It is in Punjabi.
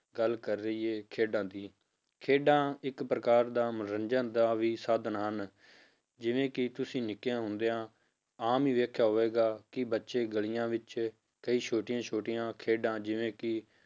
ਗੱਲ ਕਰ ਲਈਏ ਖੇਡਾਂ ਦੀ, ਖੇਡਾਂ ਇੱਕ ਪ੍ਰਕਾਰ ਦਾ ਮਨੋਰੰਜਨ ਦਾ ਵੀ ਸਾਧਨ ਹਨ, ਜਿਵੇਂ ਕਿ ਤੁਸੀਂ ਨਿੱਕਿਆਂ ਹੁੰਦਿਆਂ ਆਮ ਹੀ ਵੇਖਿਆ ਹੋਵੇਗਾ ਕਿ ਬੱਚੇ ਗਲੀਆਂ ਵਿੱਚ ਕਈ ਛੋਟੀਆਂ ਛੋਟੀਆਂ ਖੇਡਾਂ ਜਿਵੇੇਂ ਕਿ